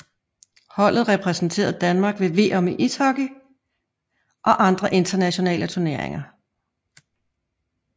Holdet repræsenterer Danmark ved VM i ishockey og andre internationale turneringer